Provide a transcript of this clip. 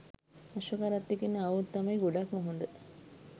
අශ්ව කරත්තෙකින් ආවොත් තමයි ගොඩක්ම හොඳ.